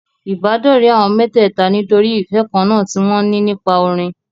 Ìbádọ́rẹ̀ẹ́ àwọn mẹ́tẹ̀ẹ̀ta nítorí ìfẹ́ kan náà tí wọn ní nípa orin.